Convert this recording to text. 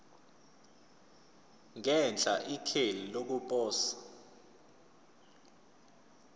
ngenhla ikheli lokuposa